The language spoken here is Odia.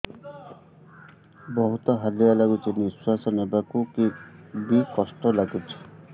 ବହୁତ୍ ହାଲିଆ ଲାଗୁଚି ନିଃଶ୍ବାସ ନେବାକୁ ଵି କଷ୍ଟ ଲାଗୁଚି